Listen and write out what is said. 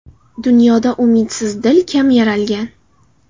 Dunyoda umidsiz dil kam yaralgan.